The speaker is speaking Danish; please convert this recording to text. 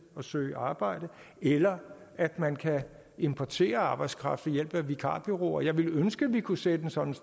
og søge arbejde eller at man kan importere arbejdskraft ved hjælp af vikarbureauer jeg ville ønske man kunne sætte sådan